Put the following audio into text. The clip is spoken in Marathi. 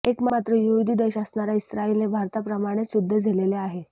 एकमात्र यहूदी देश असणारा इस्राईलने भारताप्रमाणेच युद्ध झेलले आहे